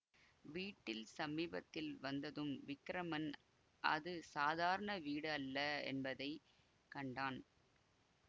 வீட்டின் சமீபத்தில் வந்ததும் விக்கிரமன் அது சாதாரண வீடு அல்ல என்பதை கண்டான்